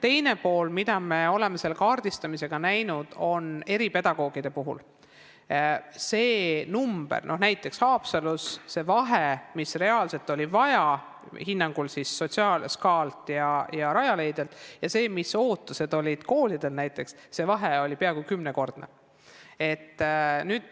Teiseks, me oleme kaardistamisel näinud eripedagoogide puhul näiteks Haapsalus, et see vahe, mida reaalselt oli vaja SKA ja Rajaleidja hinnangul ning millised ootused olid koolidel, oli peaaegu kümnekordne.